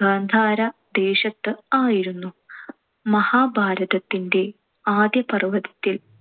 ഗാന്ധാര ദേശത്ത് ആയിരുന്നു. മഹാഭാരതത്തിന്‍റെ ആദ്യപർവത്തിൽ